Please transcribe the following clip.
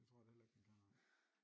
Det tror jeg da heller ikke den kan nej